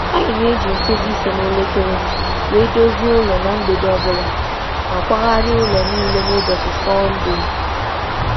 Anyị na-eme nhicha nkeji ise kwa mgbede, ma na-eme nhicha zuru ezu n’ụlọ n’ụbọchị Sọnde obua.